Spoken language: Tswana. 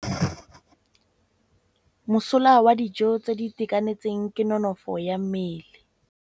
Mosola wa dijô tse di itekanetseng ke nonôfô ya mmele.